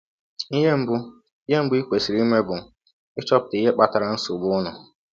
Ihe mbụ i Ihe mbụ i kwesịrị ime bụ ịchọpụta ihe kpatara nsọgbụ ụnụ.